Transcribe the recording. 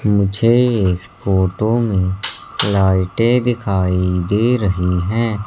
मुझे इस फोटो में लाइटें दिखाई दे रही है।